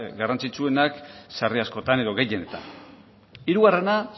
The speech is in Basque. garrantzitsuenak sarri askotan edo gehienetan hirugarrena